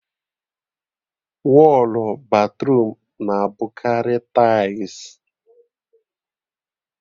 Wọlụ batruum na-abụkarị taịls